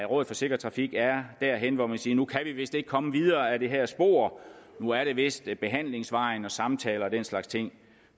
rådet for sikker trafik derhenne hvor man siger at nu kan vi vist ikke komme videre ad det her spor nu er det vist behandlingsvejen og samtaler og den slags ting